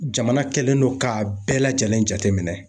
Jamana kɛlen don k'a bɛɛ lajɛlen jateminɛ.